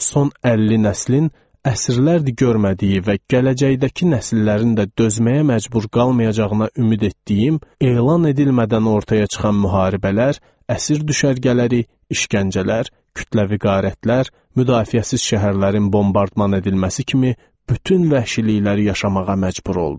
Son 50 nəslin əsrlərdir görmədiyi və gələcəkdəki nəsillərin də dözməyə məcbur qalmayacağına ümid etdiyim elan edilmədən ortaya çıxan müharibələr, əsir düşərgələri, işgəncələr, kütləvi qarətlər, müdafiəsiz şəhərlərin bombardman edilməsi kimi bütün vəhşilikləri yaşamağa məcbur olduq.